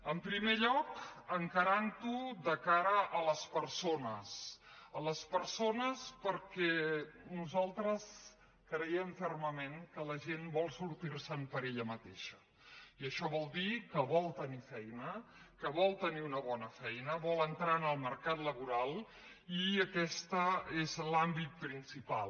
en primer lloc encarant ho de cara a les persones a les persones perquè nosaltres creiem fermament que la gent vol sortir se’n per ella mateixa i això vol dir que vol tenir feina que vol tenir una bona feina vol entrar en el mercat laboral i aquest és l’àmbit principal